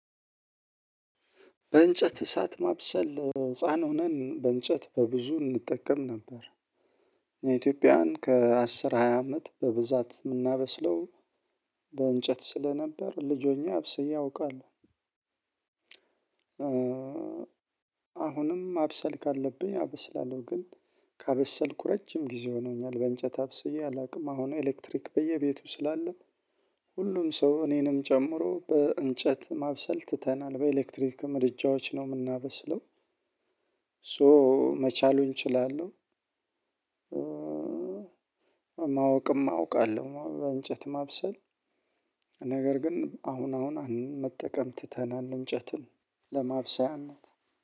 በእንጨት እሳት ማብሰል ህፃን ሆነን በእንጨት በብዙ እንጠቀም ነበር። የኢትዮጵያን ከአስር ሃያ አመት በብዛት ምናበስለው። በእንጨት ስለነበር ልጅ ሆኜ አብስዬ አውቃለሁ። አሁንም ማብሰል ካለብኝ አበስላለሁ ግን ካበሰልኩ ረጅም ጊዜ ሆኖኛል። በእንጨት አብስዬ አላቅም። አሁን ኤሌክትሪክ በየቤቱ ስላለ። ሁሉም ሰው እኔንም ጨምሮ በእንጨት ማብሰል ትተናል በኤሌክትሪክ ምድጃዎች ነው ምናበስለው። ሶ መቻሉን እችላለሁ። ማወቅም አውቃለሁ በእንጨት ማብሰል። ነገር ግን አሁን አሁን መጠቀም ትተናል እንጨትን ለማብሰያነት።